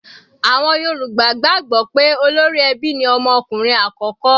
Àwọn Yorùbá gbàgbọ́ pé olórí ẹbí ni ọmọ ọkùnrin àkọ́kọ́.